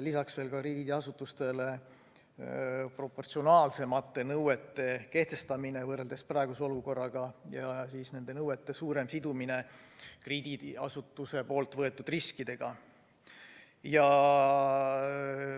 lisaks veel krediidiasutustele proportsionaalsemate nõuete kehtestamine võrreldes praeguse olukorraga ja nende nõuete suurem sidumine krediidiasutuse võetud riskidega.